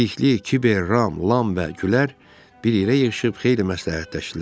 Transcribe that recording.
Bilikli, Kiber, Ram, Lam və Gülər bir yerə yığışıb xeyli məsləhətləşdilər.